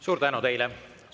Suur tänu teile!